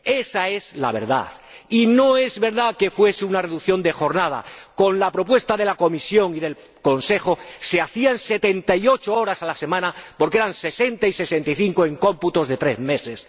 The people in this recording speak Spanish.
Ésa es la verdad, y no es verdad que fuese una reducción de jornada con la propuesta de la Comisión y del Consejo se hacían 78 horas a la semana, porque eran 60 y 65 en cómputos de tres meses.